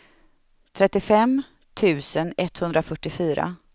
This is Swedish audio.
trettiofem tusen etthundrafyrtiofyra